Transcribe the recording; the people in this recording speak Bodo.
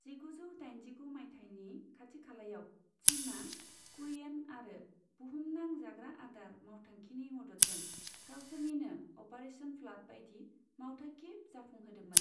जिगुजौ दाइनजिगु माइथायनि खाथिखालायाव, चिनआ कुरियेन आरो बुहुमनां जाग्रा आदार मावथांखिनि मददजों गावसोरनिनो अपारेशन फ्लाड बायदि मावथांखि जाफुंहोदोंमोन।